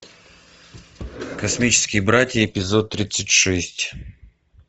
космические братья эпизод тридцать шесть